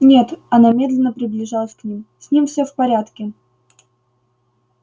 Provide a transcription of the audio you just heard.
нет она медленно приближалась к ним с ним все в порядке